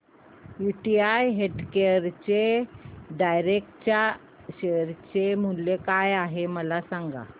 UTI healthcare direct च्या share चे मूल्य काय आहे मला सांगा